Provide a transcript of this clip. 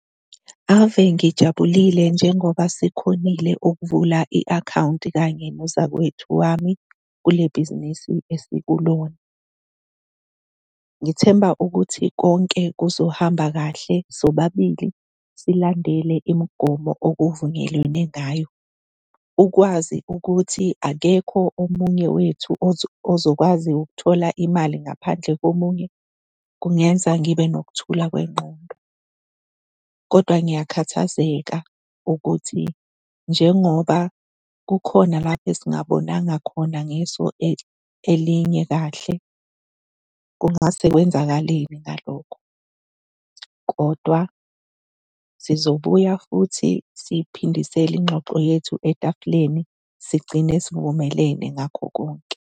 Ave ngijabulile njengoba sikhonile ukuvula i-akhawunti nozakwethu wami kule bhizinisi esikulona. Ngithemba ukuthi konke kuzohamba kahle, sobabili silandele imigomo okuvunyelwene ngayo. Ukwazi ukuthi akekho omunye wethu ozokwazi ukuthola imali ngaphandle komunye kungenza ngibe nokuthula kwengqondo, kodwa ngiyakhathazeka ukuthi njengoba kukhona la esingabonanga khona ngeso elinye kahle kungase kwenzakaleni ngalokho. Kodwa sizobuya futhi siyiphindisele ingxoxo yethu etafuleni, sigcine sivumelene ngakho konke.